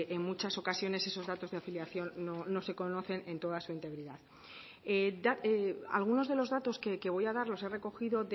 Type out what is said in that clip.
en muchas ocasiones esos datos de afiliación no se conocen en toda su integridad algunos de los datos que voy a dar los he recogido